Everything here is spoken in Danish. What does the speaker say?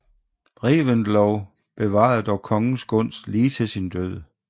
Reventlow bevarede dog kongens gunst lige til sin død